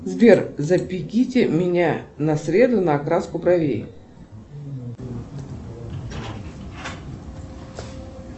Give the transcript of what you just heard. сбер запишите меня на среду на окраску бровей